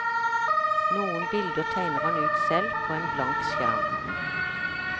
Noen bilder tegner han ut selv, på en blank skjerm.